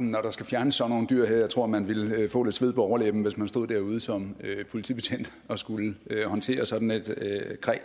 når der skal fjernes sådan nogle dyr her jeg tror man ville få lidt sved på overlæben hvis man stod derude som politibetjent og skulle håndtere sådan et kræ